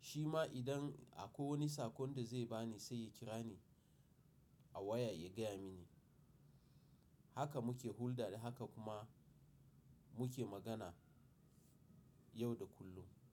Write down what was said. Shi ma idan akwai wani sakon da zai ba ni sai ya kira ni a waya ya gaya mini. Haka muke hulɗa da haka kuma muke magana yau da kullum.